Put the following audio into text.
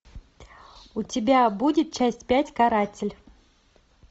у тебя будет часть пять каратель